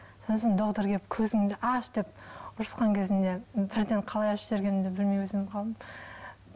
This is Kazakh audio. сосын доктор келіп көзіңді аш деп ұрысқан кезінде бірден қалай ашып жібергенімді білмей